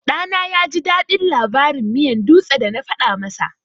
Ɗana yaji daɗin labarin miyan dutse da na faɗa masa.